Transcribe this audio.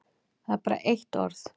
Það er bara eitt orð.